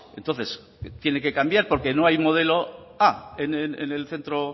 entonces tiene que cambiar porque no hay modelo a en el centro